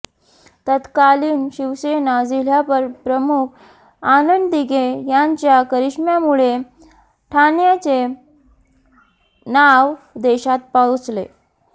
तत्कालीन शिवसेना जिल्हाप्रमुख आनंद दिघे यांच्या करिष्म्यामुळे ठाण्याचे नाव देशात पोहचले